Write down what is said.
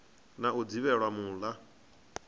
na u dzivhela mul a